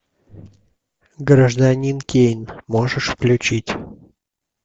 гражданин кейн можешь включить